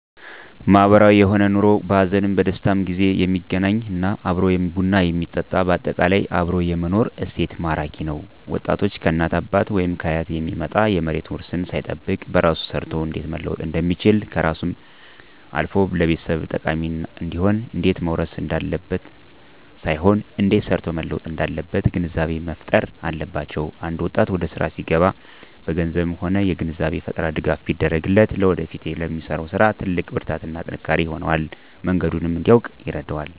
ማህበራዊ የሆነ ኑሮ በሀዘንም በደስታም ጊዜ የሚገናኝ እና አብሮ ቡና የሚጠጣ በአጠቃላይ አብሮ የመኖር እሴት ማራኪ ነዉ ወጣቶች ከእናት ከአባት ወይም ከአያት የሚመጣ የመሬት ዉርስን ሳይጠብቅ በራሱ ሰርቶ እንዴት መለወጥ እንደሚችልና ከራሱም አልፎ ለቤተሰብ ጠቃሚ እንዲሆን እንዴት መዉረስ እንዳለበት ሳይሆን እንዴት ሰርቶ መለወጥ እንዳለበት ግንዛቤ መፋጠር አለባቸዉ አንድ ወጣት ወደስራ ሲገባ በገንዘብም ሆነ የግንዛቤ ፈጠራ ድጋፍ ቢደረግለት ለወደፊቱ ለሚሰራዉ ስራ ትልቅ ብርታትና ጥንካሬ ይሆነዋል መንገዱንም እንዲያዉቅ ይረዳዋል